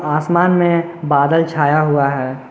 आसमान में बादल छाया हुआ है।